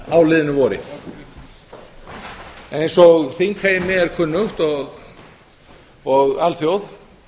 á liðnu vori eins og þingheimi er kunnugt og alþjóð